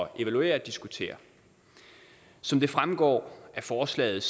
at evaluere og diskutere som det fremgår af forslaget